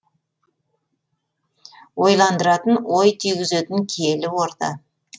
ойландыратын ой түйгізетін киелі орда